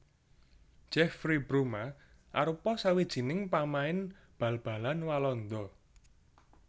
Jeffrey Bruma arupa sawijining pamain bal balan Walanda